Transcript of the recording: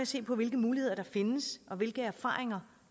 se på hvilke muligheder der findes og hvilke erfaringer